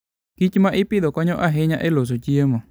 kich ma ipidho konyo ahinya e loso chiemo.